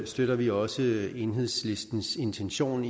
støtter vi også enhedslistens intention